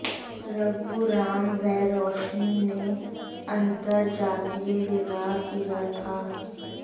रघुराम व रोशनी ने अंतरजातीय विवाह किया था